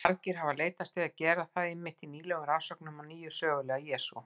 Margir hafa leitast við að gera það einmitt í nýlegum rannsóknum á hinum sögulega Jesú.